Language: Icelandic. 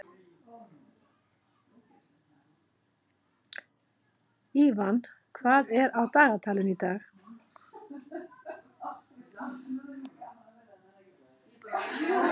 Ívan, hvað er á dagatalinu í dag?